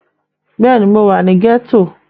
Bẹ́ẹ̀ni, mo wà ní gẹ́tò